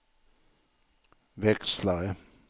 växlare